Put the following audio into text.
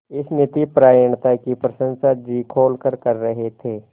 इस नीतिपरायणता की प्रशंसा जी खोलकर कर रहे थे